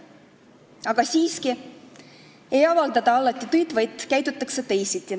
Aga siiski ei avaldata alati tõtt, vaid käitutakse teisiti.